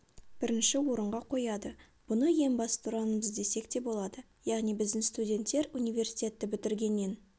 бірінші орынға қояды бұны ең басты ұранымыз десек те болады яғни біздің студенттер университетті бітіргеннен